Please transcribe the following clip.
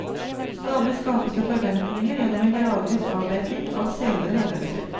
Stadig skapes det forventninger gjennom en gradvis avdekking av senere hendelser.